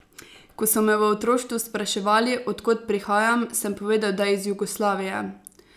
Ko so me v otroštvu spraševali, od kod prihajam, sem povedal, da iz Jugoslavije.